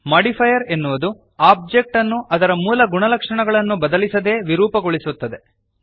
modifier ಎನ್ನುವುದು object ಅನ್ನು ಅದರ ಮೂಲ ಗುಣಲಕ್ಷಣಗಳನ್ನು ಬದಲಿಸದೇ ವಿರೂಪಗೊಳಿಸುತ್ತದೆ